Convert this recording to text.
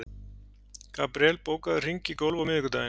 Gabríel, bókaðu hring í golf á miðvikudaginn.